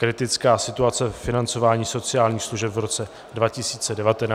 Kritická situace ve financování sociálních služeb v roce 2019 a její řešení